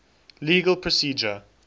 legal procedure